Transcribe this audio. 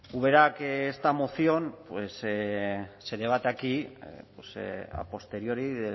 ubera que esta moción se debate aquí a posteriori